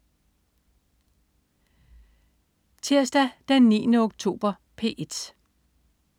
Tirsdag den 9. oktober - P1: